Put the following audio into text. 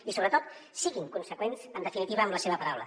i sobretot siguin conseqüents en definitiva amb la seva paraula